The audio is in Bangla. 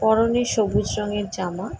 পরনে সবুজ রং এর জামা।